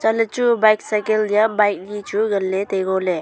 anle chu bike cycle liya bike ni chu ngan le tai ngo le.